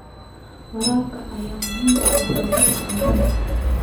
Waraabka ayaa muhiim u ah wax soo saarka cuntada.